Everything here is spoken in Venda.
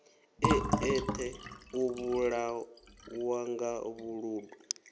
e eṱhe u vhulawanga vhuludu